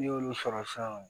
N'i y'olu sɔrɔ sisan